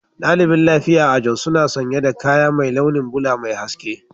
Daliɓin lafiƴa a jos suna sanya da ƙayan mai launin bula Mai hasƙe.